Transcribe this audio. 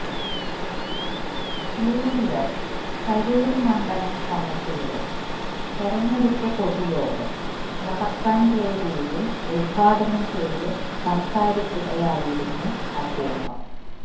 UDF Tarur മണ്ഡലം കമ്മിറ്റിയുടെ തെരഞ്ഞെടുപ്പു പൊതുയോഗം വടക്കഞ്ചേരിയില് ഉദ്ഘാടനം ചെയ്തു സംസാരിക്കുകയായിരുന്നു അദ്ദേഹം